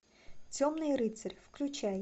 темный рыцарь включай